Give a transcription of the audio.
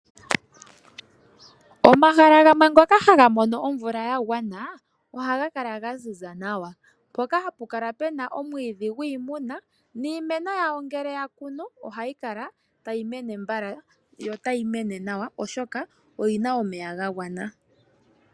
Omahala ngoka haga mono omvula ya gwana ohaga kala ga ziza nawa mpoka hapu kala puna omwiidhi gwi imuna niimeno yawo ngeke ya kunu ohayi kala tayi mene mbala yo otayi mene nawa oshoka oyina omeya ga gwana.